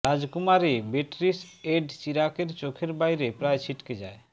রাজকুমারী বিটরিস এড চিরাকের চোখের বাইরে প্রায় ছিটকে যায়